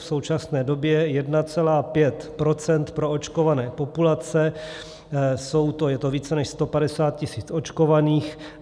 V současné době 1,5 % proočkované populace, je to více než 150 000 očkovaných.